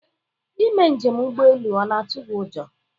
Ị mee njem ụgbọelu ọ na-atụ gị ụjọ?